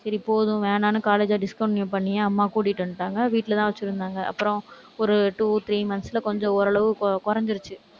சரி, போதும் வேணாம்னு college அ discontinue பண்ணி, அம்மா கூட்டிட்டு வந்துட்டாங்க. வீட்டுலதான் வச்சிருந்தாங்க. அப்புறம், ஒரு two, three months ல கொஞ்சம் ஓரளவு கு~ குறைஞ்சிருச்சு.